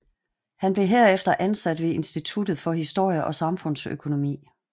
Han blev herefter ansat ved Instituttet for Historie og Samfundsøkonomi